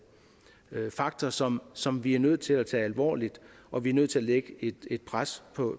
faktor som som vi er nødt til at tage alvorligt og vi er nødt til at lægge et pres